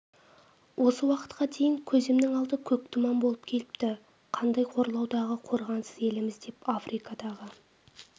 осы уақытқа дейін көзімнің алды көк тұман болып келіпті қандай қорлаудағы қорғансыз еліміз деп африкадағы